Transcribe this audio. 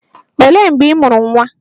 Olee mgbe ị mụrụ nwa?